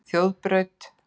Þjóðbraut